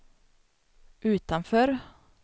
utanför